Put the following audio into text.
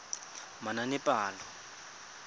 manaanepalo